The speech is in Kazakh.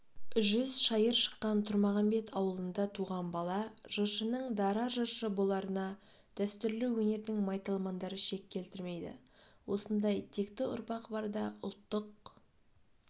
жүз шайыр шыққан тұрмағамбет ауылында туған бала жыршының дара жыршы боларына дәстүрлі өнердің майталмандары шек келтірмейді осындай текті ұрпақ барда ұлттық